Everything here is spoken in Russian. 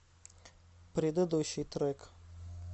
предыдущий трек